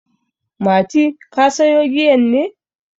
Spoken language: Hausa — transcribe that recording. Mati, ka sayo giyan ne?